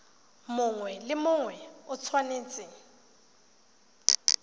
mongwe le mongwe o tshwanetse